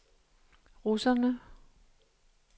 russerne